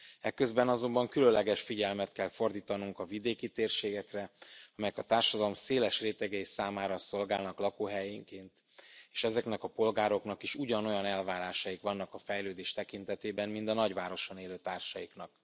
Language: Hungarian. Eközben azonban különleges figyelmet kell fordítanunk a vidéki térségekre, amelyek a társadalom széles rétegei számára szolgálnak lakóhelyként, és ezeknek a polgároknak is ugyanolyan elvárásaik vannak a fejlődés tekintetében, mint a nagyvárosban élő társaiknak.